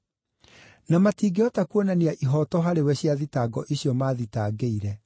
Na matingĩhota kuonania ihooto harĩwe cia thitango icio maathitangĩire.